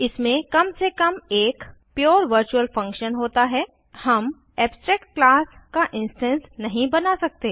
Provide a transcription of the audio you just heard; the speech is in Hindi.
इसमें कम से काम एक पुरे वर्चुअल फंक्शन होता है हम एब्स्ट्रैक्ट क्लास का इंस्टैंस नहीं बना सकते